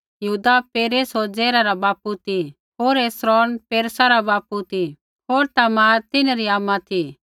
यहूदा पेरेस होर जेरह रा बापू ती होर हेस्रोन पेरेसा रा बापू ती होर तामार तिन्हरी आमा ती